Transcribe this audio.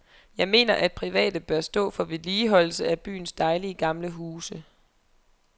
Jeg mener, at private bør stå for vedligeholdelse af byens dejlige, gamle huse.